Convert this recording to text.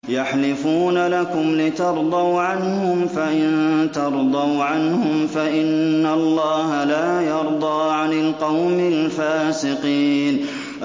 يَحْلِفُونَ لَكُمْ لِتَرْضَوْا عَنْهُمْ ۖ فَإِن تَرْضَوْا عَنْهُمْ فَإِنَّ اللَّهَ لَا يَرْضَىٰ عَنِ الْقَوْمِ الْفَاسِقِينَ